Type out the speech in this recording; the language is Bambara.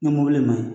Ni mɔbili man ɲi